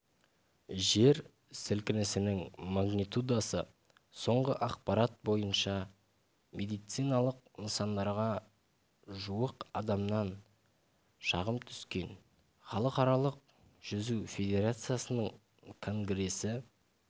жер сілкінісінің магнитудасы соңғы ақпарат бойынша медициналық нысандарға жуық адамнан шағым түскен халықаралық жүзу федерациясының конгресі